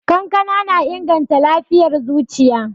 Kankana na inganta lafiyar zuciya.